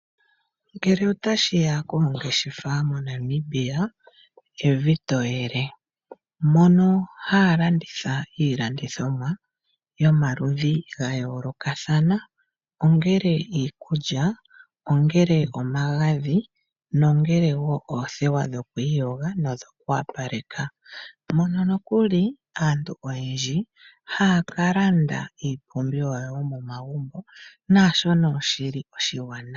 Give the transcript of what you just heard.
Ngele otashiya koongeshefa moNamibia evi to yele, mono haya landitha iilandithomwa yomaludhi ga yoolokathana ongele iikulya ongele omagadhi nongele woo oothewa dhokwiiyoga nodhoku wapaleka, mono nokuli aantu oyendji haya ka landa iipumbiwa yomomagumbo naashono shili oshiwanawa.